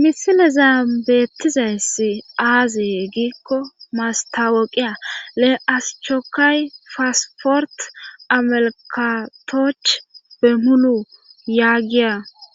misileza beettizayss aazee giikko mastaweqiya le aschokay faasfort amalkatoch be mulu yaagiya